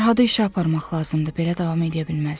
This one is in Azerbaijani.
Fərhadı işə aparmaq lazımdır, belə davam eləyə bilməz.